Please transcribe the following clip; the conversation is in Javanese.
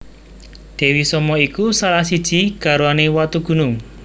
Dewi Soma iku salah siji garwane Watugunung